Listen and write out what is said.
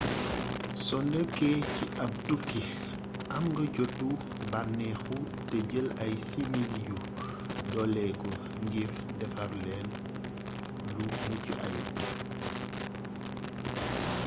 so nekkee ci ab tukki am nga jotu bànneexu te jël ay simili yu doleeku ngir defar lenn lu mucc ayub